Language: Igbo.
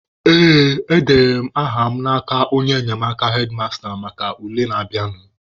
Ee, edenyere m aha mụ n'aka onye enyemaka hedmasta maka ule na-abịanụ.